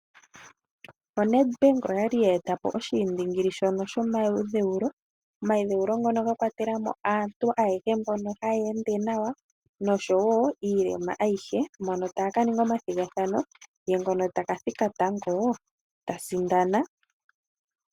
O Nedbank oyali ya eta po oshiindingili shono shomayi dheulo , omayi dheulo ngono ga kwatela mo aantu ayehe mboka haya ende nawa noshowo iilema ayihe mono taya ka ninga omathigathano ye ngono taka thika tango ya sindana.